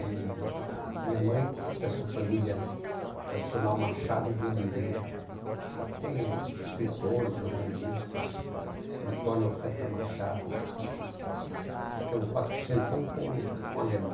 E minha mãe, que é dessa família tradicional Machado de Oliveira, tem escritores, jornalistas, Antônio Alcântara Machado, que é um quatrocentão com com alemão.